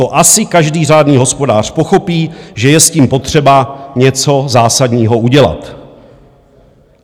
To asi každý řádný hospodář pochopí, že je s tím potřeba něco zásadního udělat.